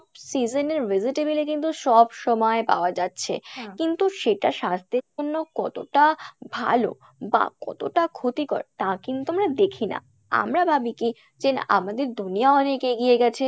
season এর vegetable ই কিন্তু সব সময় পাওয়া যাচ্ছে কিন্তু সেটা স্বাস্থ্যের জন্য কতটা ভালো বা কতটা ক্ষতিকর তা কিন্তু আমরা দেখি না, আমরা ভাবি কী যে না আমাদের দুনিয়া অনেক এগিয়ে গেছে,